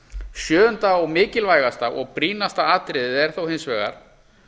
sjöunda og mikilvægasta og brýnasta atriðið er þó hins vegar